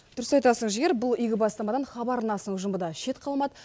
дұрыс айтасын жігер бұл игі бастамадан хабар арнасының ұжымы да шет қалмады